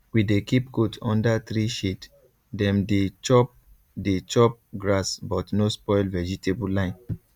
we dey keep goat under tree shade dem dey chop dey chop grass but no spoil vegetable line